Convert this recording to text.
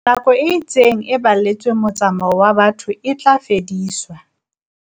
Nako e itseng e baletsweng motsa-mao wa batho e tla fediswa.